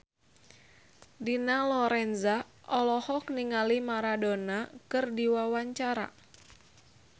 Dina Lorenza olohok ningali Maradona keur diwawancara